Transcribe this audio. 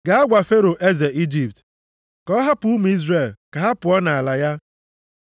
“Gaa gwa Fero eze Ijipt, ka ọ hapụ ụmụ Izrel ka ha pụọ nʼala ya.”